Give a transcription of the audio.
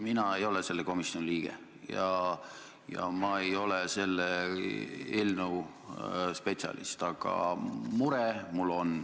Mina ei ole selle komisjoni liige ja ma ei ole selle eelnõu spetsialist, aga mul on mure.